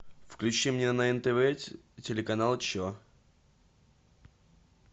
включи мне на нтв телеканал че